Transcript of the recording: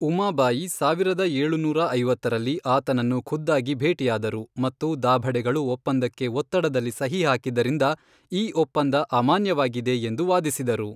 ಉಮಾಬಾಯಿ ಸಾವಿರದ ಏಳುನೂರ ಐವತ್ತರಲ್ಲಿ ಆತನನ್ನು ಖುದ್ದಾಗಿ ಭೇಟಿಯಾದರು ಮತ್ತು ದಾಭಡೆಗಳು ಒಪ್ಪಂದಕ್ಕೆ ಒತ್ತಡದಲ್ಲಿ ಸಹಿ ಹಾಕಿದ್ದರಿಂದ ಈ ಒಪ್ಪಂದ ಅಮಾನ್ಯವಾಗಿದೆ ಎಂದು ವಾದಿಸಿದರು.